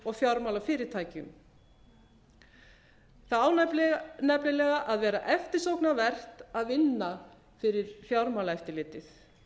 og fjármálafyrirtækjum það á nefnilega að vera eftirsóknarvert að vinna fyrir fjármálaeftirlitið